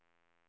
förlorade